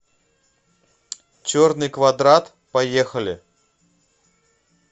черный квадрат поехали